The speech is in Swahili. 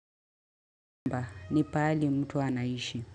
Mba, ni pahali mtu anaishi.